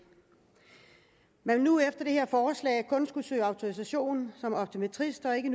man vil nu efter det her forslag kun skulle søge autorisation som optometrist og ikke